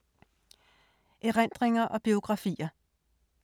Erindringer og biografier